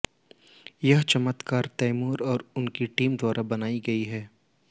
ये चमत्कार तैमूर और उनकी टीम द्वारा बनाई गई हैं